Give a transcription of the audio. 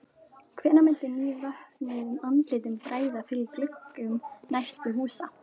Hvenær myndi nývöknuðum andlitum bregða fyrir í gluggum næstu húsa?